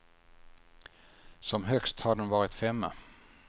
Som högst har den varit femma.